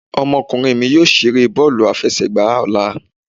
Ọmọkunrin mí yóò ṣere bọọlu afẹsẹgba ọla.